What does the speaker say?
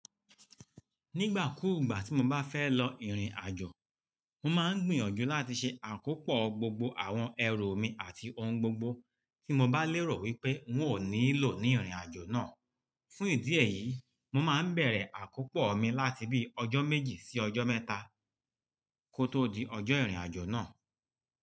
Nígbà kúùgbà tí mo bá fẹ́ lọ ìrìn-àjò, mo máa ń gbìyànjú láti ṣe àkópọ̀ gbogbo àwọn ẹrù mi àti ohun gbogbo tí mo bá lérò wípé n ó nílò ní ìrìn-àjò náà. Fún ìdí èyí, mo máa ń bẹ̀rẹ̀ àkópọ̀ mi láti bí ọjọ́ méjì sí ọjọ́ mẹ́ta kó tó di ọjọ́ ìrìn-àjò náà.